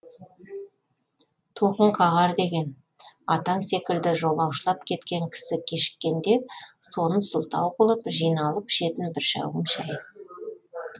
тоқым қағар деген атаң секілді жолаушылап кеткен кісі кешіккенде соны сылтау қылып жиналып ішетін бір шәугім шай